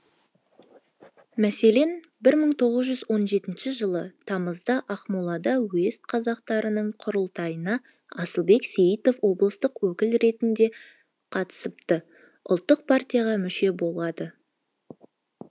мәселен бір мың тоғыз жүз он жетінші жылы тамызда ақмолада уезд қазақтарының құрылтайына асылбек сейітов облыстық өкіл ретінде қатысып ұлттық партияға мүше болады